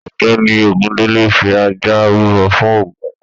Ọgbẹni Ogundele fí ajá rúbọ fún ògún